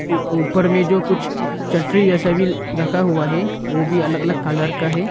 ऊपर में जो कुछ छतरी जैसे भी रखा हुआ है वह भी अलग अलग कलर का है।